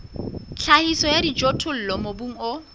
tlhahiso ya dijothollo mobung o